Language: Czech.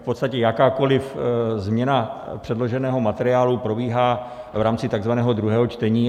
V podstatě jakákoliv změna předloženého materiálu probíhá v rámci takzvaného druhého čtení.